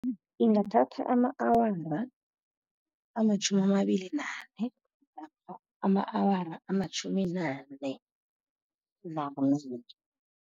Ingathatha ama-awara amatjhumi amabili nane, namkha ama-awara amatjhumi nane